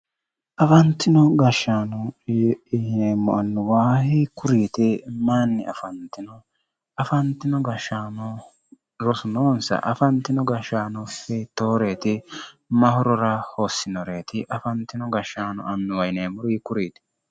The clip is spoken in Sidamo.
Afanitino gashaano yineemo annuwa hiikkuriit mayinni afanitino? Afanitino gashaano rosu noonisa ? Afanitino gashaano hitooreeti? Mahorora hossinoreeti afanitino gashaano annuwa yineemori hiikkuriit?